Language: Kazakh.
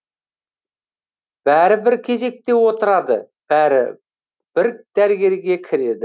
бәрі бір кезекте отырады бәрі бір дәрігерге кіреді